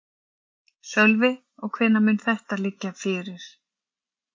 Sölvi: Og hvenær mun þetta liggja fyrir?